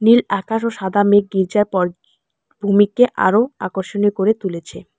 নীল আকাশ ও সাদা মেঘ গির্জার পল ভূমিকে আরো আকর্ষণীয় করে তুলেছে।